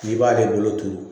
I b'ale bolo turu